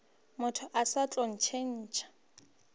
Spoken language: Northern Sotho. motho o sa tlo ntšhetšwa